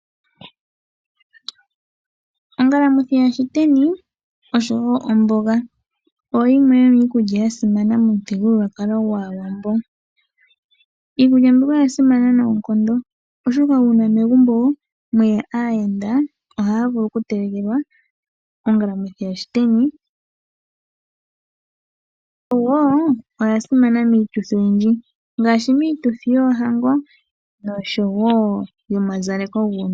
Ongalamwithi yaShiteni oshowo omboga oyo yimwe yomiikulya ya simana momuthigululwakalo gwAawambo. Iikulya mbika oya simana noonkondo, oshoka uuna megumbo mwe ya aayenda ohaya vulu okutelekelwa ongalamwithi yaShiteni. Yo wo oya simana miituthi oyindji ngaashi miituthi yoohango noshowo yomazaleko guunona.